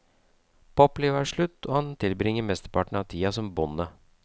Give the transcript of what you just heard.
Poplivet er slutt, og han tilbringer mesteparten av tida som bonde.